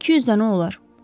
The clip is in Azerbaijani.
200 dənə olar.